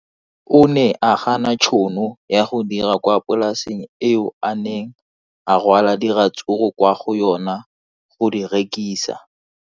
O ne a gana tšhono ya go dira kwa polaseng eo a neng rwala diratsuru kwa go yona go di rekisa.